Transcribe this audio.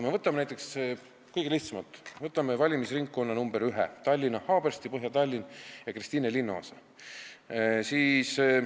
Võtame kõige lihtsamalt, võtame valimisringkonna nr 1, Tallinna Haabersti, Põhja-Tallinna ja Kristiine linnaosa.